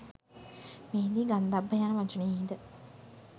මෙහිදී ගන්ධබ්බ යන වචනයෙහිද